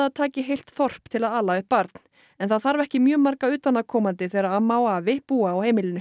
taki heilt þorp til að ala upp barn en það þarf ekki mjög marga utanaðkomandi þegar amma og afi búa á heimilinu